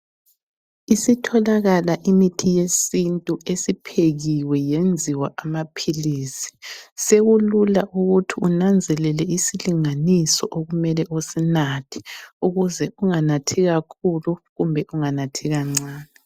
Isitholakala imithi yesintu esiphekiwe yenziwa amaphilisi. Sekulula ukuthi unanzelele isilinganiso okumele usinathe ukuze unganathi kakhulu kumbe unganathi kancane.